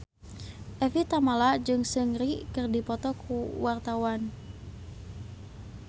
Evie Tamala jeung Seungri keur dipoto ku wartawan